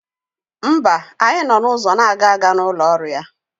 Mba, anyị nọ n'ụzọ agaga n'ụlọ ọrụ ya.